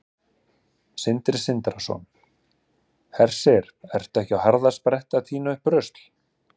Sindri Sindrason: Hersir, ertu ekki á harðaspretti að tína upp rusl?